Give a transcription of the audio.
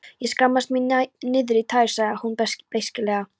Ég skammast mín niðrí tær, sagði hún beisklega.